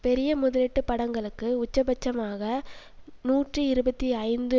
பெரிய முதலீட்டு படங்களுக்கு உச்சபட்சமாக நூற்றி இருபத்தி ஐந்து